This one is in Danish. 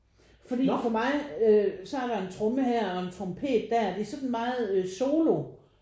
Fordi for mig øh så er der en tromme her og en trompet der det er sådan meget øh solo